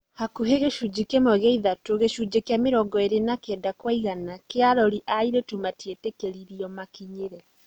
Hakuhĩ gĩcunjĩ kĩmwe gĩa ithatu, gĩcunjĩ kĩa mĩrongo-ĩrĩ ka kenda kwa igana, kĩa arori a airĩtu matietĩkĩririe makinyĩre.